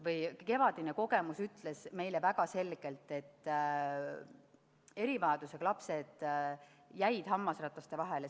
Sest kevadine kogemus näitas meile väga selgelt, et erivajadusega lapsed jäid hammasrataste vahele.